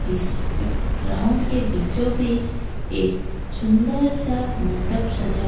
इस P ground के बीचों बीच एक सुंदर सा मंडप सजा--